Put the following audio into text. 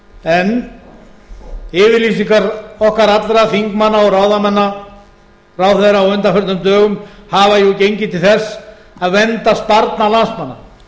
en yfirlýsingar okkar allra þingmanna og ráðherra á undanförnum dögum hafa jú gengið til þess að vernda sparnað landsmanna að